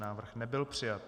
Návrh nebyl přijat.